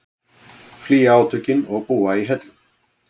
Flýja átökin og búa í hellum